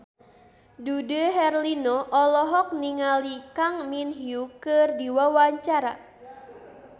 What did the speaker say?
Dude Herlino olohok ningali Kang Min Hyuk keur diwawancara